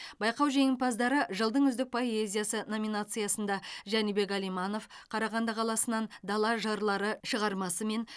байқау жеңімпаздары жылдың үздік поэзиясы номинациясында жәнібек әлиманов қарағанды қаласынан дала жырлары шығармасымен